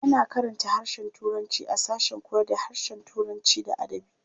A na karanta harshen turanci a sashen koyarda harshen Turanci da adabi.